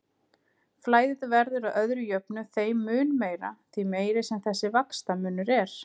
Flæðið verður að öðru jöfnu þeim mun meira, því meiri sem þessi vaxtamunur er.